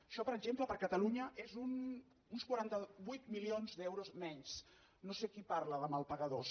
això per exemple per a catalunya són uns quaranta vuit milions d’euros menys no sé qui parla de mals pagadors